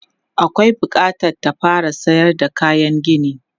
Akwai bukatar ta fara sayar da kayan gini.